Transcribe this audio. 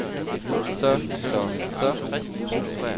så så så